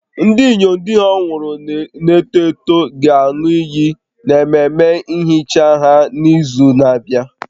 Ndị inyom di ha nwụrụ na-eto eto ga-aṅụ iyi n'ememe nhicha ha n'izu na-abịa